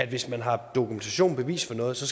hvis man har dokumentation og bevis for noget så